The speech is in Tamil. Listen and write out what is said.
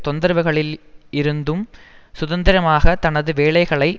தொந்தரவுகளில் இருந்தும் சுதந்திரமாக தனது வேலைகளை